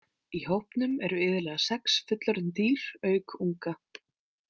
Í hópnum eru iðulega sex fullorðin dýr auk unga.